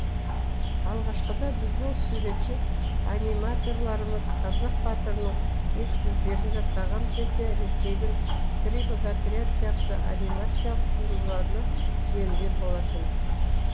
алғашқыда біздің суретші аниматорларымыз қазақ батырының эскиздерін жасаған кезде ресейдің три богатыря сияқты анимациялық туындыларына сүйенген болатын